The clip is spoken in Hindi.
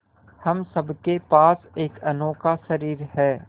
हम सब के पास एक अनोखा शरीर है